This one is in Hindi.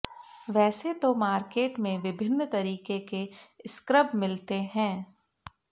वैसे तो मार्केट में विभिन्न तरीके के स्क्रब मिलते है